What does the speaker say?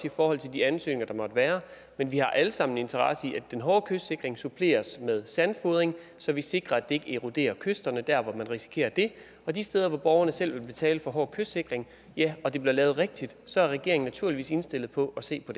i forhold til de ansøgninger der måtte være men vi har alle sammen en interesse i at den hårde kystsikring suppleres med sandfodring så vi sikrer at det ikke eroderer kysterne der hvor man risikerer det og de steder hvor borgerne selv vil betale for hård kystsikring og det bliver lavet rigtigt så er regeringen naturligvis indstillet på at se på